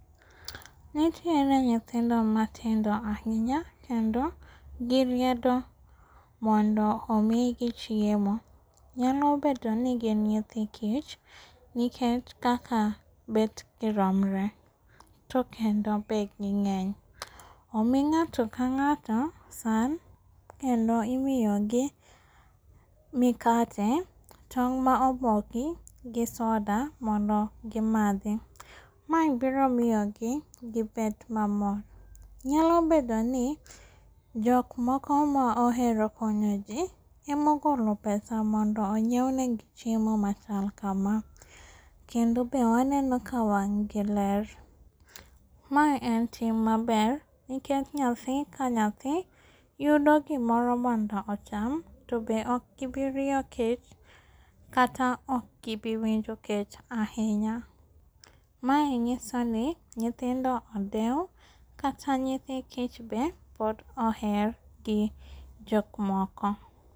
Nitiere nyithindo matindo ahinya, kendo giriedo mondo omigi chiemo. Nyalo bedoni gin nyithi kich nikech kaka bet giromre to kendo be ging'eny. Omi ng'ato kang'ato san kendo imiyogi mikate, tong' maoboki gi soda mondo gimadhi. Mae biromiyogi gibed mamor. Nyalo bedoni jokmoko maohero konyo jii emogolo pesa mondo onyieu negi chiemo machal kama, kendo be waneno ka wang' gi ler. Mae en tim maber nikech nyathi ka nyathi yudo gimoro mondo ocham, tobe okgibiriyo kech, kata okgibiwinjo kech ahinya. Mae nyisoni nyithindo odeu kata nyithi kich be pod oher gi jokmoko.